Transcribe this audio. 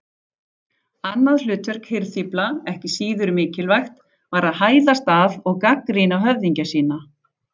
Annað hlutverk hirðfífla, ekki síður mikilvægt, var að hæðast að og gagnrýna höfðingja sína.